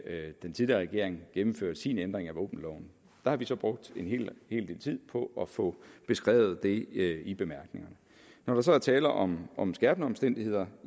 den tidligere regering gennemførte sin ændring af våbenloven der har vi så brugt en hel del tid på at få beskrevet det i bemærkningerne når der så er tale om om skærpende omstændigheder